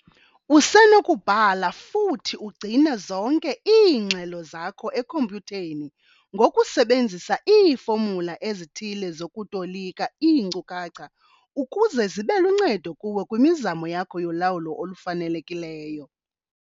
Usenokubhala futhi ugcine zonke iingxelo zakho ekhompyutheni ngokusebenzisa iifomula ezithile zokutolika iinkcukacha ukuze zibe luncedo kuwe kwimizamo yakho yolawulo olufanelekileyo.